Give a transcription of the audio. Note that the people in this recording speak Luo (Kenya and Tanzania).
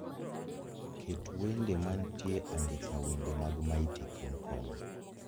Ket wende mantie andike wende mag mighty kingkong